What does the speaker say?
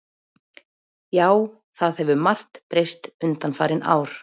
Já, það hefur margt breyst undanfarin ár.